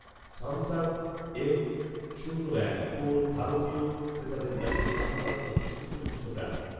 Samsung M শূন্য এক core ভারতীয় ক্রেতাদের কাছে স্যামসাং একটি সুপরিচিত ব্র্যান্ড